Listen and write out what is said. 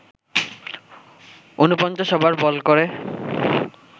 ৪৯ over bowl করে